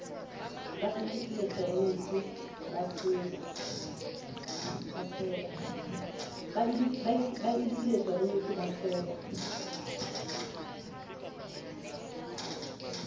ba eleketeroniki ba se ba